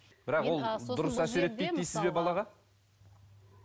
бірақ ол дұрыс әсер етпейді дейсіз бе балаға